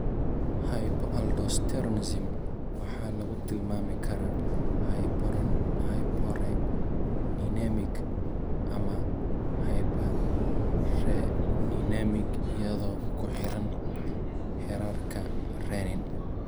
Hypoaldosteronism waxaa lagu tilmaami karaa hyporeninemic ama hyperreninemic iyadoo ku xiran heerarka renin.